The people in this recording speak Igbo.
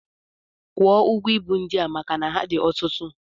Kwụọ ụgwọ ibu ndị a maka na ha dị ọtụtụ!